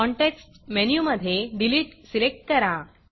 context मेनूमधे Deleteडिलीट select करा